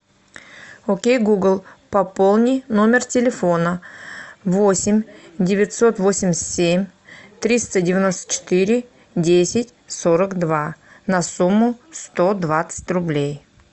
окей гугл пополни номер телефона восемь девятьсот восемьдесят семь триста девяносто четыре десять сорок два на сумму сто двадцать рублей